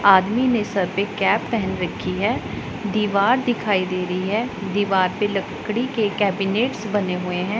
आदमी ने सर पे कैप पेहेन रखी है दीवार दिखाई दे रही है दीवार पे लकड़ी के केबिनेट्स बने हुए हैं।